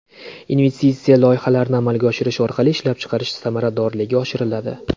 Investitsiya loyihalarini amalga oshirish orqali ishlab chiqarish samaradorligi oshiriladi.